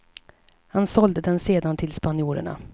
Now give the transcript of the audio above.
Han sålde den sedan till spanjorerna.